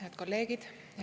Head kolleegid!